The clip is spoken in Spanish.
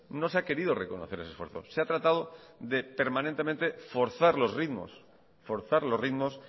no se ha querido reconocer ese esfuerzo se ha tratado de permanentemente forzar los ritmos forzar los ritmos